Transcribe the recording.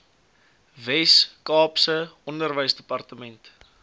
wes kaapse onderwysdepartement